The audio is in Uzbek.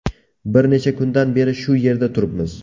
Bir necha kundan beri shu yerda turibmiz.